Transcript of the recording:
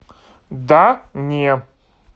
да не